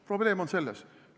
Probleem on selles.